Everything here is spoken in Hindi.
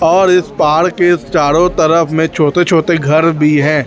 और इस पहाड़ के चारों तरफ में छोटे छोटे घर भी हैं।